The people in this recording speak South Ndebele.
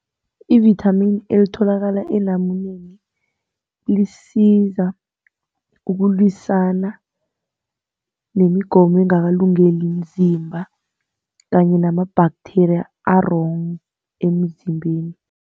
Ivithamini elitholakala elamuleni, lisiza ngokulwisana nemigomo engakalungeli umzimba kanye nama-bacteria a-wrong emzimbeni.